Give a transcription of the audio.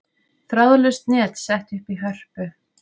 Þráðlaust net sett upp í Hörpu